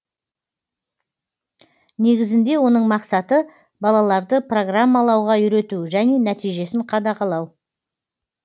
негізінде оның мақсаты балаларды программалауға үйрету және нәтижесін қадағалау